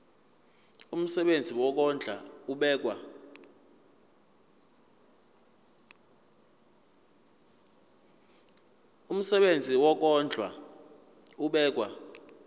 umsebenzi wokondla ubekwa